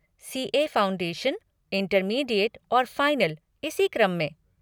CA. Foundation, intermediate और final, इसी क्रम में।